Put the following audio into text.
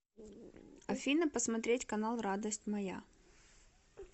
афина посмотреть канал радость моя